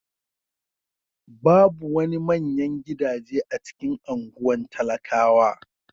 Babu wani manyan gidaje a cikin anguwan talakawa.